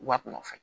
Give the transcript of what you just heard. U b'a kunna fɛn